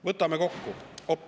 Võtame kokku.